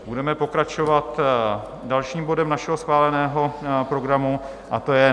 Budeme pokračovat dalším bodem našeho schváleného programu, a to je